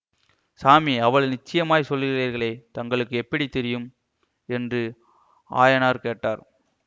சாமி அவ்வளவு நிச்சயமாய்ச் சொல்லுகிறீர்களே தங்களுக்கு எப்படி தெரியும் என்று ஆயனார் கேட்டார்